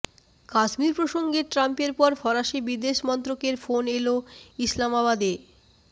কাশ্মীর প্রসঙ্গে ট্রাম্পের পর ফরাসি বিদেশমন্ত্রকের ফোন এল ইসলামাবাদে